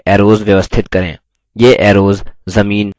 अब आकृति में arrows व्यवस्थित करें